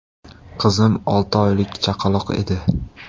Qizim olti oylik chaqaloq edi.